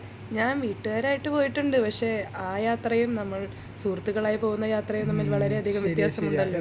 ഞാൻ വീട്ടുകാർ ആയിട്ട് പോയിട്ടുണ്ട് പക്ഷേ ആ യാത്രയും നമ്മൾ സുഹൃത്തുക്കളുമായി യാത്ര ചെയ്യുന്നതും വളരെ വ്യത്യാസമുണ്ടല്ലോ